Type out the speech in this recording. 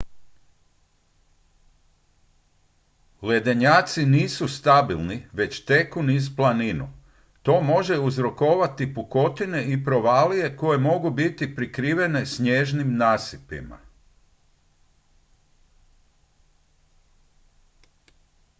ledenjaci nisu stabilni već teku niz planinu to može uzrokovati pukotine i provalije koje mogu biti prikrivene snježnim nasipima